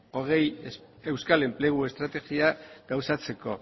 hogei euskal enplegu estrategia gauzatzeko